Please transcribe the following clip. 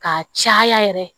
Ka caya yɛrɛ